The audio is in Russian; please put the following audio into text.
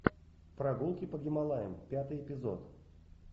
прогулки по гималаям пятый эпизод